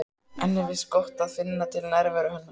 Henni finnst gott að finna til nærveru hennar.